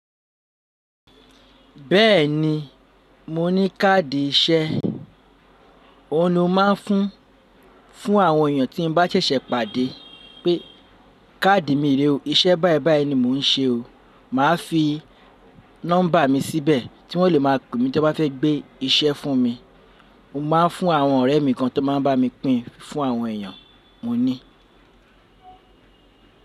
Bẹ́ẹ̀ni, mo ní káàdì iṣẹ́, òun ni mo máa ń fún fún àwọn èèyàn tí mo bá ṣẹ̀ṣẹ̀ pàdé pé káàdì mi rè o, iṣẹ́ báìbàí ni mò ń ṣe o. Màá fi nọ́mbà mi síbẹ̀ tí wọ́n lè máa pè mí tí wọ́n bá fẹ́ gbé iṣẹ́ fún mi. Mo máa ń fún àwọn ọ̀rẹ́ mi kan tó máa ń bá mi pín fún àwọn èèyàn, mo ní.